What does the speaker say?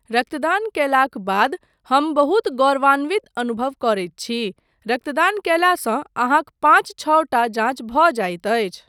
रक्तदान कयलाक बाद हम बहुत गौरवन्वित अनुभव करैत छी। रक्तदान कयलासँ अहाँक पाँच छओ टा जाँच भऽ जाइत छै।